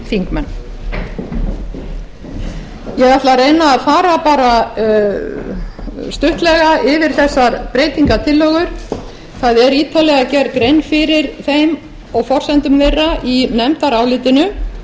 ég ætla að reyna að fara stuttlega yfir þessar breytingartillögur það er ítarlega gerð grein fyrir þeim og forsendum þeirra í nefndarálitinu